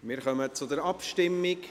Wir kommen zur Abstimmung.